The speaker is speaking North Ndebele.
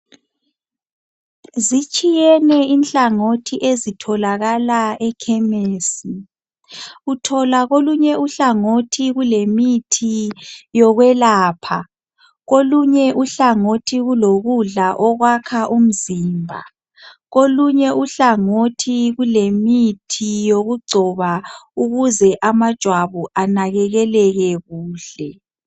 Zitshiyene inhlangothi ezitholakala ekhemesi, uthola kolunye uhlangothi kulemithi yokwelapha, kolunye uhlangothi kulokudla okwakha umzimba, kolunye uhlangothi kulemithi yokugcoba ukuze amajwabu anakekeleke kuhle